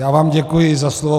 Já vám děkuji za slovo.